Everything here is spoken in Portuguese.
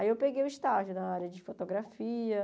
Aí eu peguei o estágio na área de fotografia.